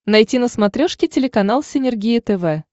найти на смотрешке телеканал синергия тв